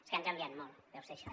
és que han canviat molt deu ser això